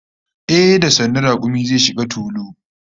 Ehh, da sannu sannu rakumi zai shiga tulu